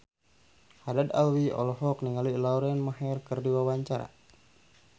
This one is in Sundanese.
Haddad Alwi olohok ningali Lauren Maher keur diwawancara